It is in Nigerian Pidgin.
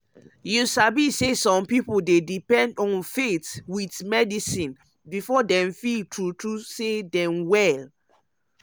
you sabi say some pipo dey depend um on faith with medicine before dem feel true true say dem well.